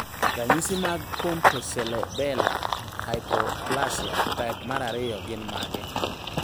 Ranyisi mag Pontocerebellar hypoplasia type 2 gin mage?